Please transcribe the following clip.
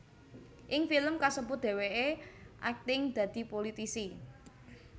Ing film kasebut dhèwèké akting dadi pulitisi